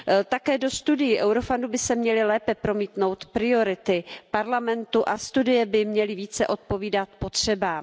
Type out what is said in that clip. Také do studií Eurofoundu by se měly lépe promítnout priority Evropského parlamentu a studie by měly více odpovídat potřebám.